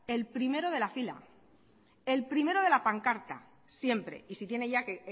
el primero de la fila el primero de la pancarta siempre y si tiene ya que